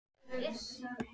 Örn stóð upp.